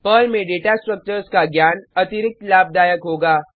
Perl में data structures का ज्ञान अतिरिक्त लाभदायक होगा